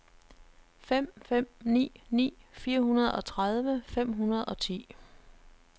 fem fem ni ni fireogtredive fem hundrede og ti